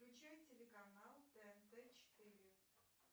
включай телеканал тнт четыре